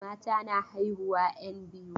Mata na haihuwan 'yan biyu.